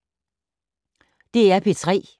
DR P3